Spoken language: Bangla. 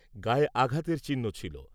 গায়ে আঘাতের চিহ্ন ছিল।